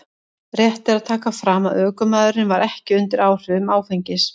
Rétt er að taka fram að ökumaðurinn var ekki undir áhrifum áfengis.